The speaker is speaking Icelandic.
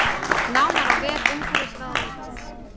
Nánar á vef umhverfisráðuneytisins